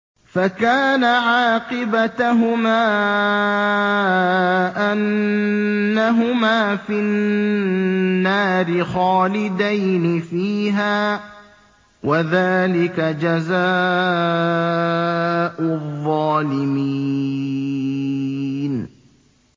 فَكَانَ عَاقِبَتَهُمَا أَنَّهُمَا فِي النَّارِ خَالِدَيْنِ فِيهَا ۚ وَذَٰلِكَ جَزَاءُ الظَّالِمِينَ